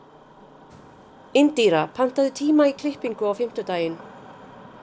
Indíra, pantaðu tíma í klippingu á fimmtudaginn.